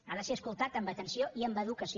ha de ser escoltat amb atenció i amb educació